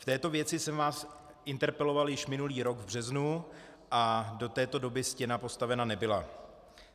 V této věci jsem vás interpeloval již minulý rok v březnu a do této doby stěna postavena nebyla.